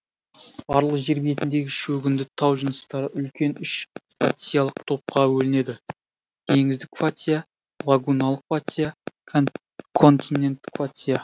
барлық жер бетіндегі шөгінді тау жыныстары үлкен үш фациялық топқа бөлінеді теңіздік фация лагуналық фация континенттік фация